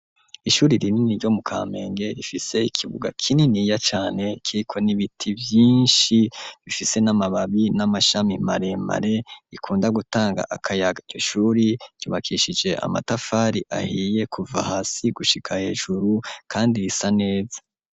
Ishuri rinini ryo mu Kamenge rifise ikibuga kininiya cane kiriko n'ibiti vyishi bifise n'amababi n'amashami maremare gikunda gutanga akayaga iryo shuri ryubakishije amatafari ahiye kuva hasi gushika hejuru kandi risa neza.